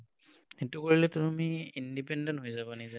সেইটো কৰিলে তুমি independent হৈ যাবা নিজে।